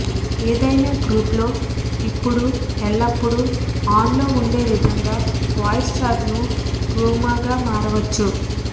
ఏదైనా గ్రూపులో ఇప్పుడు ఎల్లప్పుడూ ఆన్ లో ఉండే విధంగా వాయిస్ చాట్ ను రూమ్గా మారవచ్చు